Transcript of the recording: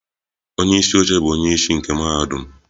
Onye isi oche bụ onye isi nke mahadum.